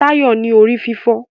Tayo ń ní orí-fífọ́.